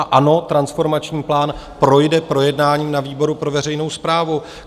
A ano, transformační plán projde projednáním na výboru pro veřejnou správu.